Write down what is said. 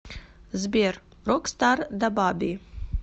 сбер рокстар дабаби